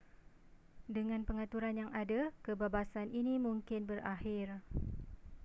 dengan pengaturan yang ada kebabasan ini mungkin berakhir